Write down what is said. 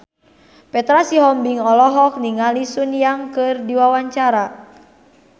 Petra Sihombing olohok ningali Sun Yang keur diwawancara